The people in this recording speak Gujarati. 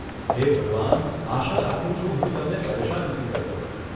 હે ભગવાન, આશા રાખું છું હું તમને પરેશાન નથી કરતો.